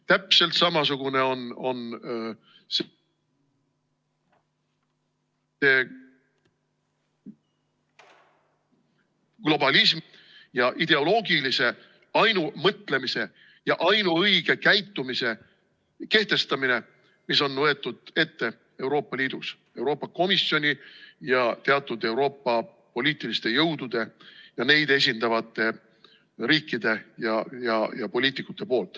Täpselt samasugune on globalismi ja ideoloogilise ainumõtlemise ja ainuõige käitumise kehtestamine, mille on võtnud ette Euroopa Liidus Euroopa Komisjon ja teatud Euroopa poliitilised jõud ja neid esindavad riigid ja poliitikud.